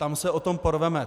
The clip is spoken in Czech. Tam se o to porveme.